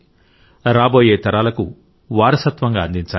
రాబోయే తరాలకు వారసత్వంగా అందించాలి